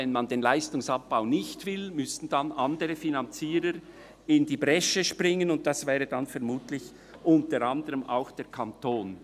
Wenn man den Leistungsabbau nicht will, müssten dann andere Finanzierer in die Bresche springen, und das wäre dann vermutlich unter anderem auch der Kanton.